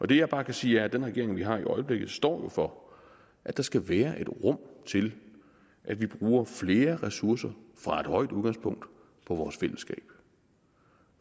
det jeg bare kan sige er at den regering vi har i øjeblikket jo står for at der skal være et rum til at vi bruger flere ressourcer fra et højt udgangspunkt på vores fællesskab